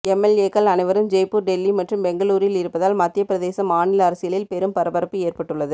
எம்எல்ஏக்கள் அனைவரும் ஜெய்ப்பூர் டெல்லி மற்றும் பெங்களூரில் இருப்பதால் மத்தியபிரதேச மாநில அரசியலில் பெரும் பரபரப்பு ஏற்பட்டுள்ளது